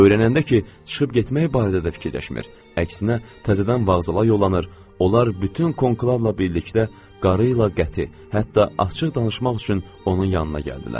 Öyrənəndə ki, çıxıb getmək barədə də fikirləşmir, əksinə təzədən vağzala yollanır, onlar bütün konqularla birlikdə qarıyla qəti, hətta açıq danışmaq üçün onun yanına gəldilər.